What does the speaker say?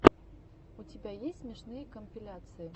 у тебя есть смешные компиляции